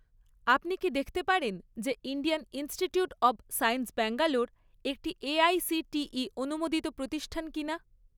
আপনি কি দেখতে পারেন যে Indian Institute of Science Bangalore একটি এআইসিটিই অনুমোদিত প্রতিষ্ঠান কিনা?